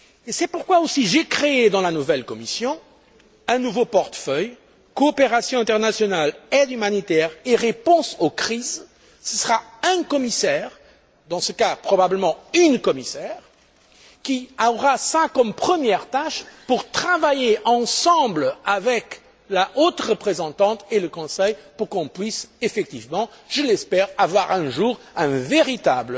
C'est pourquoi j'ai créé aussi, dans la nouvelle Commission, un nouveau portefeuille Coopération internationale, aide humanitaire et réponse aux crises. Ce sera un commissaire, dans ce cas probablement une commissaire, qui aura cela comme tâche première et devra travailler de concert avec la haute représentante et le Conseil, afin qu'on puisse effectivement, je l'espère, avoir un jour un véritable